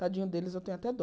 Tadinho deles, eu tenho até dó.